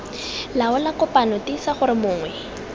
laola kopano tiisa gore mongwe